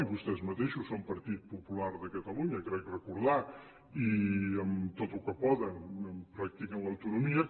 vostès mateixos són partit popular de catalunya crec recordar i amb tot el que poden practiquen l’autonomia